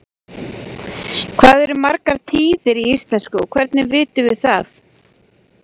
Hvað eru margar tíðir í íslensku og hvernig vitum við það?